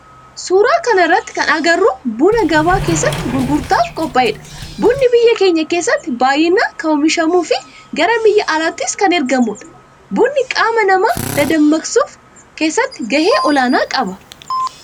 Suuraa kana irratti kan agarru buna gabaa keessatti gurgurtaaf qophaa'edha. Bunni biyya teenya keessatti baayyinaan kan oomishamuu fi gara biyya alaattis kan ergamudha. Bunni qaama nama dadammaksuu keessatti gahee olaanaa qaba.